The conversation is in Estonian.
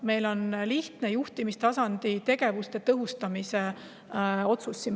See on lihtne juhtimistasandi tegevuste tõhustamise otsus.